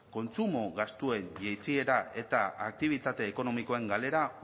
kontsumo gastuen jaitsiera eta aktibitate ekonomikoen galera